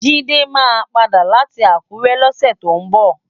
Jide má pàdá láti Akure lòsè tó nbò